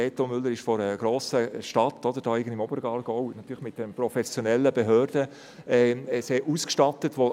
Reto Müller kommt aus einer grossen Stadt, irgendwo im Oberaargau, die natürlich mit einer professionellen Behörde sehr ausgestattet ist.